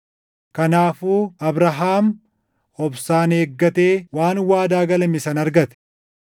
Kanaafuu Abrahaam obsaan eeggatee waan waadaa galame sana argate.